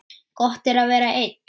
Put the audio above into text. Gott er að vera einn.